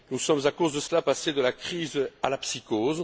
Nous sommes, à cause de cela, passés de la crise à la psychose.